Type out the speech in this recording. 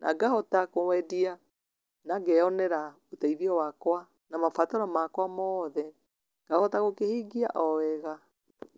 na ngahota kwendia, na ngeyonera ũteithio wakwa, na mabataro makwa mothe, ngahota gũkĩhingia o wega.